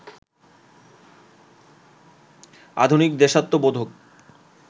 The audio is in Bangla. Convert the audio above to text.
আধুনিক, দেশাত্মবোধক